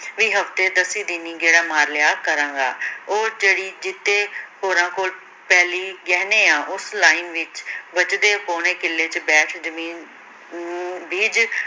ਵੀ ਹਫਤੇ ਦਸੀਂ ਦਿਨੀ ਗੇੜਾ ਮਾਰ ਲਿਆ ਕਰਾਂਗਾ ਉਹ ਜਿਹੜੀ ਜੀਤੇ ਹੁਰਾਂ ਕੋਲ ਪੈਲੀ ਗਹਿਣੇ ਆਂ, ਉਸ ਲਾਈਨ ਵਿੱਚ ਬਚਦੇ ਪੌਣੇ ਕਿੱਲੇ ਚ ਬੈਠ ਜ਼ਮੀਨ ਬੀਜ